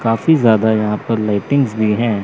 काफी ज्यादा यहां पर लाइटिंग्स भी हैं।